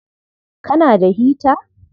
Kana da hita?